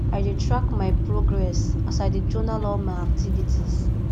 i dey track my progress as i dey journal all my activities